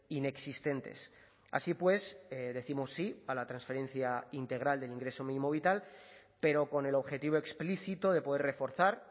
inexistentes así pues décimos sí a la transferencia integral del ingreso mínimo vital pero con el objetivo explícito de poder reforzar